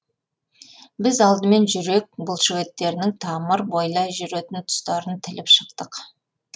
біз алдымен жүрек бұлшықеттерінің тамыр бойлай жүретін тұстарын тіліп шықтық